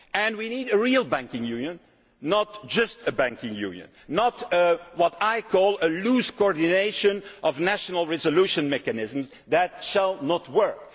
We need a real banking union, not merely a banking union, not what I call a loose coordination of national resolution mechanisms. That will not work.